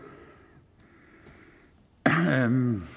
anden